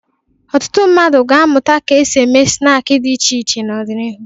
Ọtụtụ mmadụ ga-amụta ka e si eme snaakị dị iche iche n'ọdịnihu.